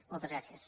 moltes gràcies